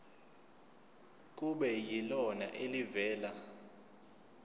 kube yilona elivela